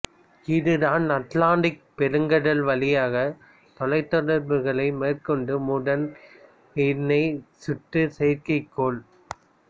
இது தான் அட்லாண்டிக் பெருங்கடல் வழியாக தொலைத்தொடர்புகள் மேற்கொண்ட முதல் இணை சுற்று செயற்கைக்கோள்